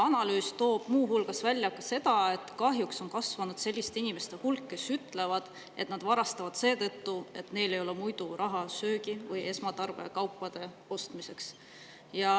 Analüüs toob muu hulgas välja, et kahjuks on kasvanud selliste inimeste hulk, kes ütlevad, et nad varastavad seetõttu, et neil ei ole raha söögi või esmatarbekaupade ostmiseks.